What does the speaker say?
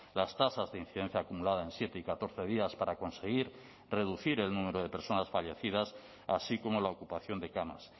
las tasas de incidencia acumulada en siete y catorce días para conseguir reducir el número de personas fallecidas así como la ocupación de camas